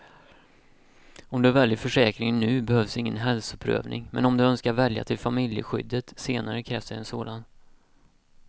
Om du väljer försäkringen nu behövs ingen hälsoprövning, men om du önskar välja till familjeskyddet senare krävs det en sådan.